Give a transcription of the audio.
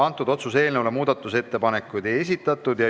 Selle otsuse eelnõu kohta muudatusettepanekuid ei esitatud.